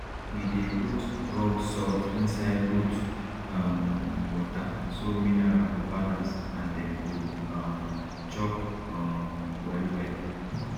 we dey put rock salt inside goat um water so mineral go balance and dem go um chop um well well